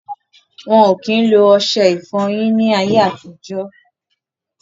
Wọn ò kí ń lo ọṣẹ ìfọyín ni ayé àtijọ́.